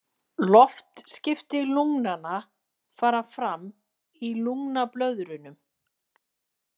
Loftskipti lungnanna fara fram í lungnablöðrunum.